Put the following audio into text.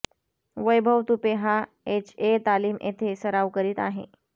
वैभव तुपे हा एचए तालीम येथे सराव करीत आहे